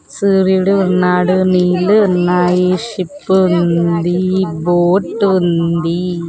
సూర్యుడు ఉన్నాడు నీళ్ళు ఉన్నాయి షిప్పు ఉందీ బోట్ ఉందీ.